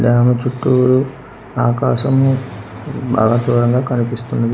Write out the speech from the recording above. గ్రామ చుట్టూరూ ఆకాశం బాగా దూరంగా కనిపిస్తుంది.